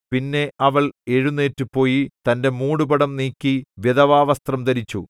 പിന്നെ അവൾ എഴുന്നേറ്റുപോയി തന്റെ മൂടുപടം നീക്കി വിധവാവസ്ത്രം ധരിച്ചു